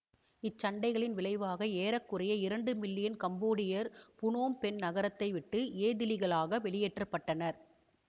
இச்சண்டைகளின் விளைவாக ஏற குறைய இரண்டு மில்லியன் கம்போடியர் புனோம் பென் நகரத்தை விட்டு ஏதிலிகளாக வெளியேற்ற பட்டனர்